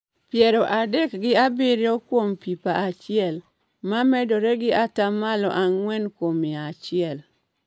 piero adek gi abirio kuom pipa achiel, ma medore gi ata malo ang'wen kuom mia achiel.